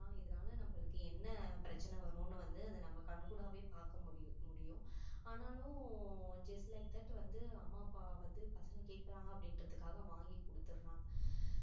இதனால நம்மளுக்கு என்ன பிரச்சனை வரும்னு வந்து அதை நம்ம கண்கூடாகவே பாக்க முடி~ முடியும் ஆனாலும் just like that வந்து அம்மா அப்பா வந்து பசங்க கேக்குறாங்க அப்படின்றதுக்காக வாங்கி கொடுத்துடுறாங்க